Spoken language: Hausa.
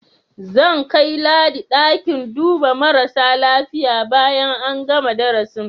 Zan kai Ladi ɗakin duba marasa lafiya bayan an gana darasin.